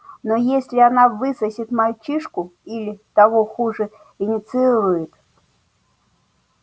но если она высосет мальчишку или того хуже инициирует